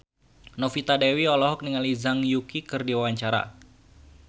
Novita Dewi olohok ningali Zhang Yuqi keur diwawancara